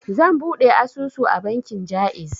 Zan buɗe asusu a bankin Jaiz.